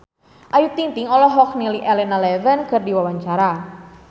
Ayu Ting-ting olohok ningali Elena Levon keur diwawancara